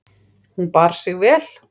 Hún bar sig vel.